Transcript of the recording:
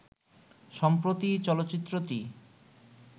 সম্প্রতি চলচ্চিত্রটি